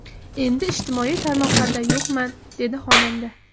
Endi ijtimoiy tarmoqlarda yo‘qman”, dedi xonanda.